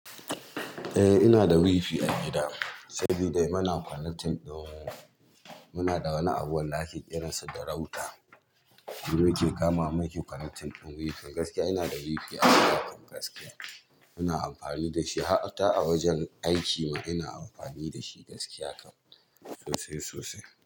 Eh ina da wifi a gida, saboda muna connecting ɗin, muna da wani abu da ake ƙiransa da router. Mu muke kamawa muke connecting ɗin wifi. Gaskiya ina da wifi a gidanmu gaskiya. Muna amfani da shi hatta a wajen aikinmu ina amfani da shi gaskiya kam sosai sosai.